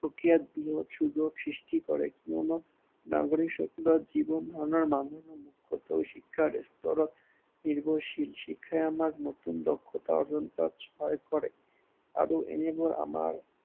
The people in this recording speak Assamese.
প্ৰক্ৰিয়াত বৃহত সৃষ্টি কৰে। কিয়নো নাগৰিকসকলৰ জীৱন ধাৰনৰ মানদণ্ড মুখ্য়ত শিক্ষাৰ ওপৰত নিৰ্ভৰশীল। শিক্ষাই আমাক নতুন দক্ষতা অৱলম্বন কৰাত সহায় কৰে। আৰু এনেকৈ আমাক